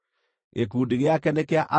Gĩkundi gĩake nĩ kĩa andũ 57,400.